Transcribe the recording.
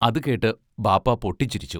അതു കേട്ട് ബാപ്പാ പൊട്ടിച്ചിരിച്ചു.